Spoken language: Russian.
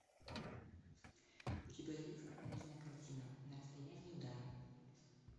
у тебя есть кинокартина на расстоянии удара